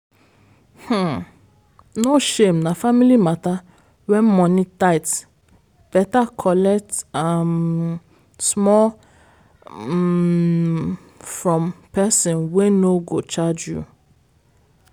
um no shame na family matter when money tight better collect um small um from person wey no go charge you.